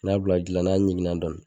N'i y'a bila ji la n'a ɲiginna dɔɔni